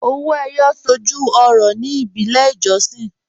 Ọwọ́ Eyọ̀ sọ́jú ọ̀rọ̀ ní ìbílẹ̀ ìjọ̀ṣìn